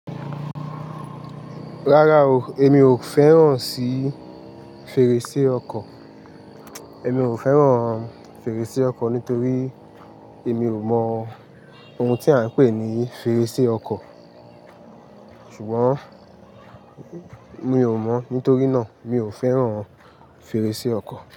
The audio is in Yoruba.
Rárá o, èmi ò fẹ́ràn sí fèrèsé ọkọ̀. Èmi ò fẹ́ràn fèrèsé ọkọ̀ nítorí èmi ò mọ ohun tí a ń pè ní fèrèsé ọkọ̀. Ṣùgbọ́n mi ò mọ̀, nítorí náà mi ò fẹ́ràn fèrèsé ọkọ̀